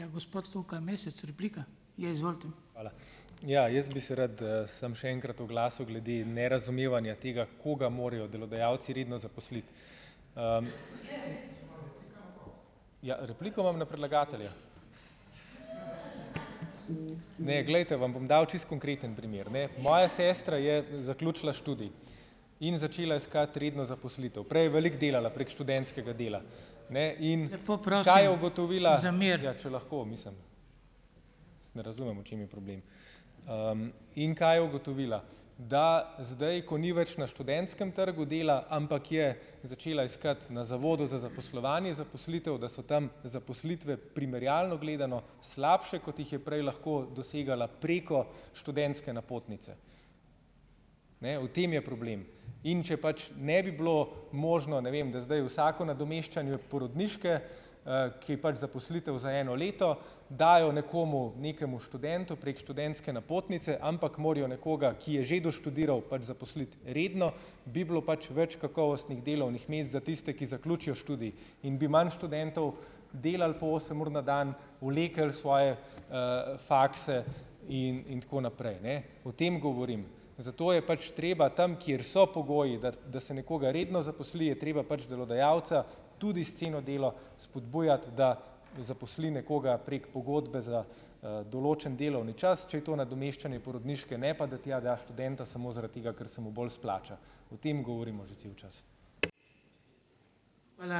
Ja, jaz bi se rad, samo še enkrat oglasil glede nerazumevanja tega, koga morajo delodajalci redno zaposliti. Ja, repliko imam na predlagatelja. Ne, glejte, vam bom dal čisto konkreten primer, ne. Moja sestra je zaključila študij in začela iskati redno zaposlitev, prej je veliko delala preko študentskega dela. Ne razumem, v čem je problem, in kaj je ugotovila ... Da zdaj, ko ni več na študentskem trgu dela, ampak je začela iskati na zavodu za zaposlovanje zaposlitev, da so tam zaposlitve primerjalno gledano slabše, kot jih je prej lahko dosegala preko študentske napotnice. Ne, v tem je problem. In če pač ne bi bilo možno, ne vem, da zdaj vsako nadomeščanje porodniške, ki pač zaposlitev za eno leto, dajo nekomu, nekemu študentu prek študentske napotnice, ampak morajo nekoga, ki je že doštudiral pač zaposliti redno, bi bilo pač več kakovostnih delovnih mest za tiste, ki zaključijo študij. In bi manj študentov delalo po osem ur na dan, vleklo svoje, fakse in in tako naprej, ne. O tem govorim. Zato je pač treba tam, kjer so pogoji, da se nekoga redno zaposli, je treba pač delodajalca tudi s ceno delo spodbujati, da zaposli nekoga prek pogodbe za, določen delovni čas, če je to nadomeščanje porodniške, ne pa, da tja jaz študenta samo zaradi, ker se mu bolj splača. O tem govorimo že cel čas.